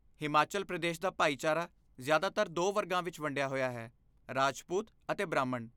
ਹਿਮਾਚਲ ਪ੍ਰਦੇਸ਼ ਦਾ ਭਾਈਚਾਰਾ ਜ਼ਿਆਦਾਤਰ ਦੋ ਵਰਗਾਂ ਵਿੱਚ ਵੰਡਿਆ ਹੋਇਆ ਹੈ ਰਾਜਪੂਤ ਅਤੇ ਬ੍ਰਾਹਮਣ